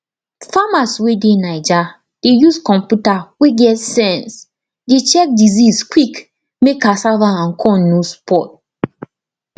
farmers wey dey naija dey use computer wey get sense dey check disease quick mek cassava and corn no spoil